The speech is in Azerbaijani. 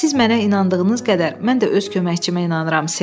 Siz mənə inandığınız qədər, mən də öz köməkçimə inanıram, Ser.